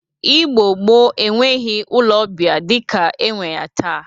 Igbo gboo enweghi ụlọ ọbịa dịka enwe ya taa